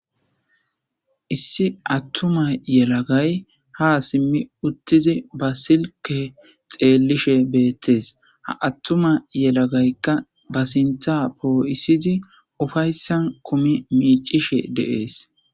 Issi attuma yelagay ha simmi uttizi ba silke xeellishe beettees ha attuma yelagaykka ba sintha poo7isizi ufayssan kumi miicishe dees.